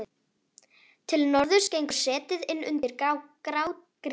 Til norðurs gengur setið inn undir grágrýtið.